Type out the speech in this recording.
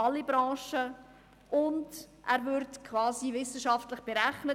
Zudem würde er quasi wissenschaftlich berechnet.